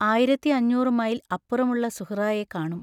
ആയിരത്തി അഞ്ഞൂറു മൈൽ അപ്പുറമുള്ള സുഹ്റായെ കാണും.